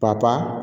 Ka